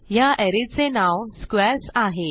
ह्या अरे चे नाव स्क्वेअर्स आहे